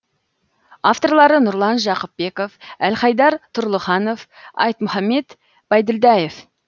авторлары нұрлан жақыпбеков әлхайдар тұрлыханов айтмұхаммед байділдаев